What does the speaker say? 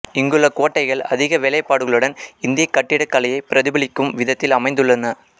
இங்குள்ள கோட்டைகள் அதிக வேலைப்பாடுகளுடன் இந்தியக் கட்டிடக் கலையை பிரதிபலிக்கும் விதத்தில் அமைந்துள்ளன